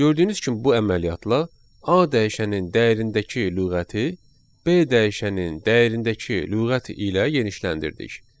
Gördüyünüz kimi bu əməliyyatla A dəyişənin dəyərindəki lüğəti B dəyişənin dəyərindəki lüğəti ilə genişləndirdik.